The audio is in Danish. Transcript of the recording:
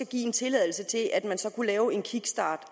give en tilladelse til at lave en kickstart